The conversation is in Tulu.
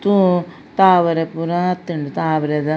ತಾವರೆ ಪೂರ ಆತುಂಡು ತಾವರೆದ--